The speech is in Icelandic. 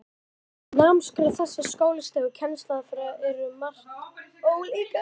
Námskrá þessara skólastiga og kennsluaðferðirnar eru um margt ólíkar.